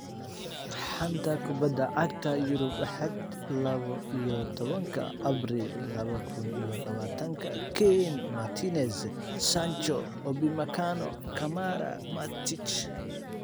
Xanta Kubadda Cagta Yurub Axad lawo iyo tobanka abriil laba kun iyo labatanka: Kane, Martinez, Sancho, Upamecano, Kamara, Matic